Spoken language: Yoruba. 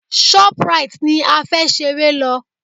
Shoprite ni a fẹ́ ṣeré lọ.